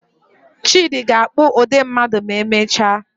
Chidi ga-akpụ ụdị mmadụ ma emechaa.